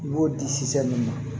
I b'o di ma